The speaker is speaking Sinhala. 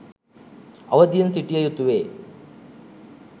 අවධියෙන් සිටිය යුතුවේ